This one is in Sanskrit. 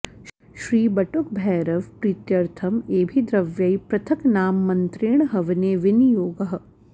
श्री बटुकभैरव प्रीत्यर्थम् एभिर्द्रव्यैः पृथक् नाम मन्त्रेण हवने विनियोगः